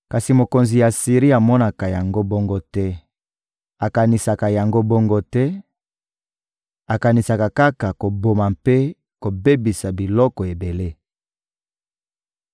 Kasi mokonzi ya Asiri amonaka yango bongo te, akanisaka yango bongo te; akanisaka kaka koboma mpe kobebisa bikolo ebele.